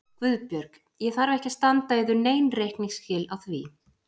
GUÐBJÖRG: Ég þarf ekki að standa yður nein reikningsskil á því.